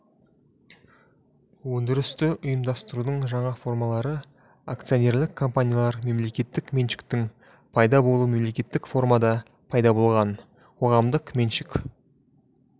өндірісті ұйымдастырудың жаңа формалары акционерлік компаниялар мемлекеттік меншіктің пайда болуы мемлекеттік формада пайда болған қоғамдық меншік